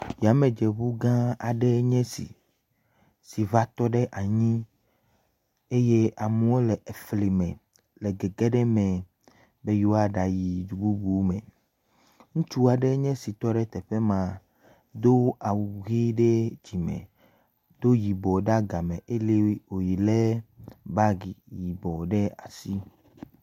Yamedzeŋu gãa aɖee nye esi si va tɔ ɖe anyi eye amewo le fli me le gege ɖe eme be yewoyi du bubu me, ŋutsu aɖe enye esi tɔ ɖe teƒe ma do awu ʋi ɖe dzime do yibɔ ɖe agame eye wòlé bagi yibɔ ɖe asi.